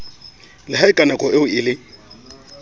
la haeka nakoeo e le